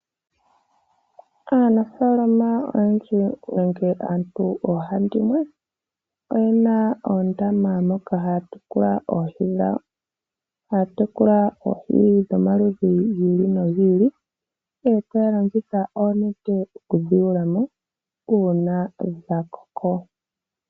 Aanafaalama oyendji nenge aantu oohandimwe oye na oondama moka haya tekula oohi dhawo. Taya tekula oohi dhomaludhi giili nogiili, oopala ndhika noonete dhoku dhi yuula mo uuna dha koko.